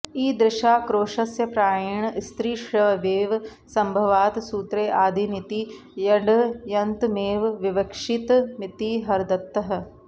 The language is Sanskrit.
ईदृशाक्रोशस्य प्रायेण स्त्रीष्वेव सम्भवात् सूत्रे आदिनीति ङ्यन्तमेव विवक्षितमिति हरदत्तः